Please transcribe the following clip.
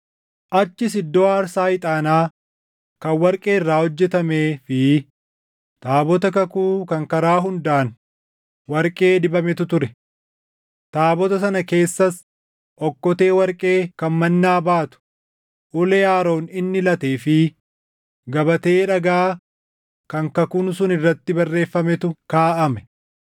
Achis iddoo aarsaa ixaanaa kan warqee irraa hojjetamee fi taabota kakuu kan karaa hundaan warqee dibametu ture. Taabota sana keessas okkotee warqee kan mannaa baatu, ulee Aroon inni latee fi gabatee dhagaa kan kakuun sun irratti barreeffametu kaaʼame.